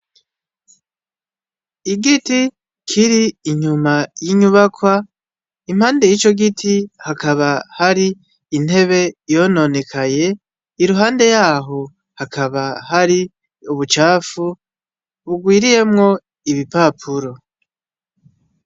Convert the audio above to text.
Igiti kiri inyuma y’inyubakwa impande y’ico giti hakaba hari intebe yononekaye, iruhande y’aho hakaba hari ubucafu bugwiriyemwo ibipapuro.